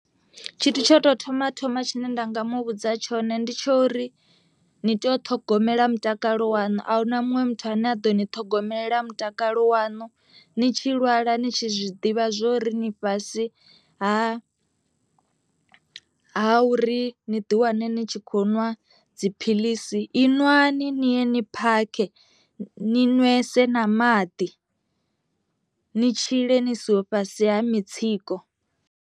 Tshithu tsho tou thoma thoma tshine nda nga mu vhudza tshone ndi tsho uri ni tea u ṱhogomela mutakalo wanu ahuna muṅwe muthu ane a ḓo ni ṱhogomela mutakalo waṋu, ni tshi lwala ni tshi zwiḓivha zwori ni fhasi ha ha uri ni ḓi wane ni tshi kho nwa dziphiḽisi i nwani ni ye ni phakhe, ni nwese na maḓi ni tshile ni siho fhasi ha mitsiko.